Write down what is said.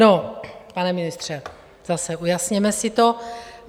No, pane ministře, zase, ujasněme si to.